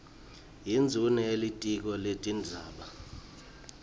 yindvuna yelitiko letindzaba